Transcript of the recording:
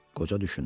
Qoca düşündü.